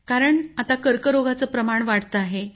कारण आता कर्करोगाचं प्रमाण वाढत आहे